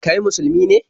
Kai Musulmi ne?